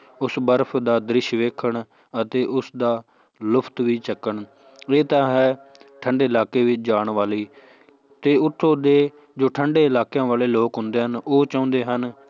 ਉਸ ਬਰਫ਼ ਦਾ ਦ੍ਰਿਸ਼ ਵੇਖਣ ਅਤੇ ਉਸਦਾ ਲੁਫ਼ਤ ਵੀ ਚੁੱਕਣ ਇਹ ਤਾਂ ਹੈ ਠੰਢੇ ਇਲਾਕੇ ਵਿੱਚ ਜਾਣ ਵਾਲੇ ਤੇ ਉੱਥੋਂ ਦੇ ਜੋ ਠੰਢੇ ਇਲਾਕਿਆਂ ਵਾਲੇ ਲੋਕ ਹੁੰਦੇ ਹਨ, ਉਹ ਚਾਹੁੰਦੇ ਹਨ